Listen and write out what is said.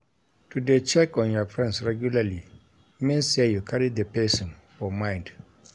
To de check on your friends regularly means say you carry the persin for mind